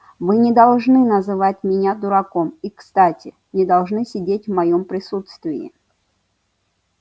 вы не должны называть меня дураком и кстати не должны сидеть в моем присутствии